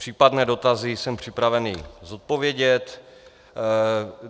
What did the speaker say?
Případné dotazy jsem připraven zodpovědět.